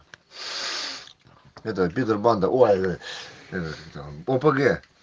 это питер банда ой это как там опг